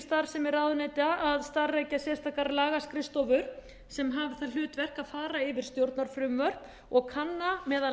starfsemi ráðuneyta að starfrækja sérstakar lagaskrifstofur sem hafa það hlutverk að fara yfir stjórnarfrumvörp og kanna meðal